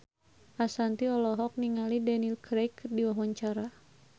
Ashanti olohok ningali Daniel Craig keur diwawancara